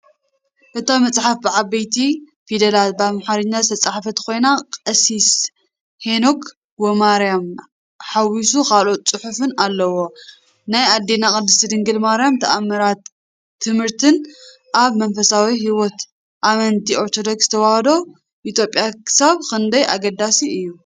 እታ መጽሓፍ ብዓበይቲ ፊደላት ብኣምሓርኛ ዝተጻሕፈት ኮይና፡ "ቀሲስ ሄኖክ ወማርያም" ሓዊሱ ካልኦት ጽሑፋት ኣለዉ። ናይ ኣዴና ቅድስት ድንግል ማርያም ተኣምራትን ትምህርትን ኣብ መንፈሳዊ ሕይወት ኣመንቲ ኦርቶዶክስ ተዋህዶ ኢትዮጵያ ክሳብ ክንደይ ኣገዳሲ እዩ?